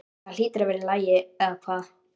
Það hlýtur að vera í lagi, eða hvað?